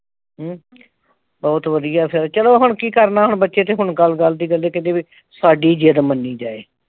ਹਮ ਬਹੁਤ ਵਧੀਆ ਫਿਰ ਚਲੋ ਹੁਣ ਕੀ ਕਰਨਾ। ਹੁਣ ਬੱਚੇ ਤੇ ਹੁਣ ਗੱਲ ਗੱਲ ਤੇ ਕਹਿੰਦੇ ਬਈ ਸਾਡੀ ਜਿੱਦ ਮੰਨੀ ਜਾਏ।